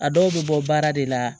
A dɔw bɛ bɔ baara de la